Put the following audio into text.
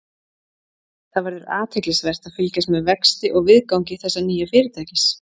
Það verður athyglisvert að fylgjast með vexti og viðgangi þessa nýja fyrirtækis.